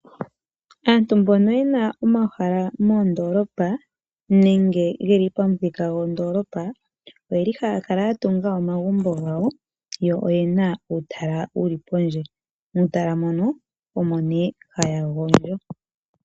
Aantu mbono yena omahala moondoolopa nenge geli pamuthika gondoolopa oyeli haya kala ya tunga omagumbo gawo yo oyena uutala wuli pondje. Muutala mono omo nee haya gondjo.